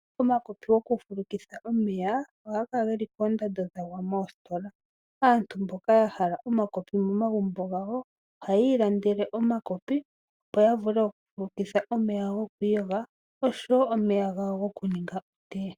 Omakopi gokufulukitha omeya ohaga kala geli koondando dhagwa moositola. Aantu mboka yahala omakopi momagumbo gawo oha yiilandele omakopi opo yavule okufulukitha omeya gokwiiyoga nosho wo gokuninga otea.